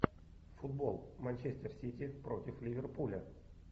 футбол манчестер сити против ливерпуля